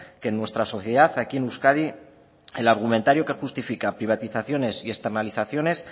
que en nuestra sociedad aquí en euskadi el argumentario que justifica privatizaciones y externalizaciones